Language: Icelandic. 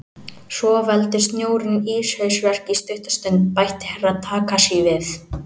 Svo veldur snjórinn íshausverk í stutta stund, bætti Herra Takashi við.